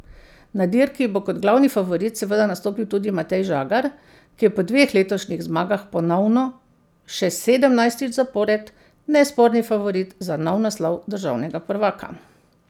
Na dirki bo kot glavni favorit seveda nastopil tudi Matej Žagar, ki je po dveh letošnjih zmagah ponovno, še sedemnajstič zapored, nesporni favorit za nov naslov državnega prvaka.